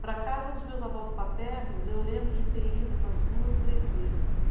Para a casa dos meus avós paternos, eu lembro de ter ido umas duas, três vezes.